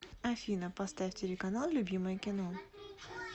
афина поставь телеканал любимое кино